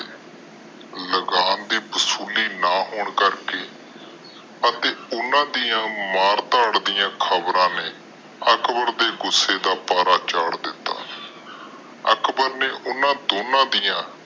ਲਗਾਮ ਦੇ ਵਸੂਲੀ ਨਾ ਹੋਣ ਕਰਕੇ ਅਤੇ ਓਹਨਾ ਦੀਆਂ ਮਾਰ ਤਾੜ ਦੀਆਂ ਖਬਰਾਂ ਨੇ ਅਕਬਰ ਦੇ ਗੁਸੇ ਦਾ ਪਾਰਾ ਚਾੜ ਦਿਤਾ। ਅਕਬਰ ਨੇ ਓਹਨਾ ਦੋਨਾਂ ਦੀਆਂ